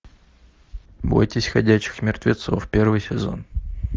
бойтесь ходячих мертвецов первый сезон